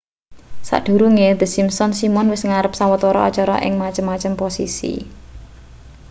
sadurunge the simpsons simon wis nggarap sawetara acara ing macem-macem posisi